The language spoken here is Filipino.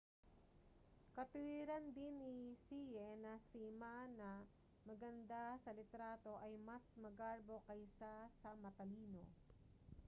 katuwiran din ni hsieh na si ma na maganda sa litrato ay mas magarbo kaysa sa matalino